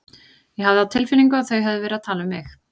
Ég hafði á tilfinningunni að þau hefðu verið að tala um mig.